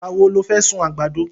Ìgbà wo lo fẹ́ sun àgbàdo?